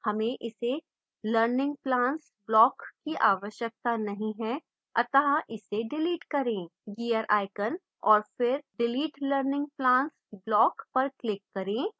हमें इस learning plans block की आवश्यकता नहीं है अतः इसे डिलीट करें